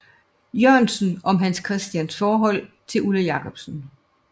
Jørgensen om Hans Christians forhold til Ulla Jacobsen